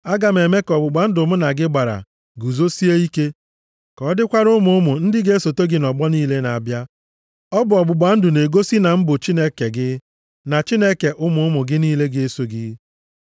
Aga m eme ka ọgbụgba ndụ mụ na gị gbara guzosie ike, ka ọ dịkwara ụmụ ụmụ ndị ga-esote gị nʼọgbọ niile na-abịa. Ọ bụ ọgbụgba ndụ na-egosi na m bụ Chineke gị, na Chineke ụmụ ụmụ gị niile ga-eso gị.